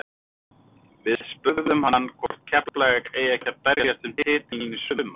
Við spurðum hann hvort Keflavík eigi ekki að berjast um titilinn í sumar?